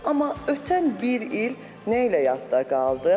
Amma ötən bir il nə ilə yadda qaldı?